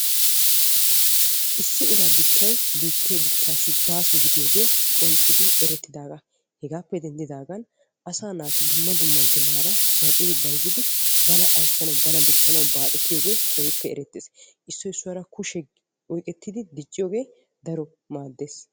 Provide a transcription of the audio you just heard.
issi uraa dichchay biittee dichchaassi baaso gidiyooge qonccidi erettidaagaa. hegaappe denddidaagan asaa naati dumma dumma ginaara zal'idi bayizzidi bana dichchanawu bana ayissanawu baaxetiyooge keehippe erettes. issoy issuwaara kushiya oyiqettidi dicciyogee daro maaddes.